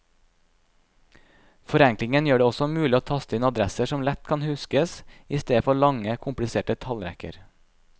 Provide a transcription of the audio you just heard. Forenklingen gjør det også mulig å taste inn adresser som lett kan huskes, i stedet for lange, kompliserte tallrekker.